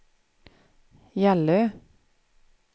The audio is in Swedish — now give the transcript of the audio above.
Gällö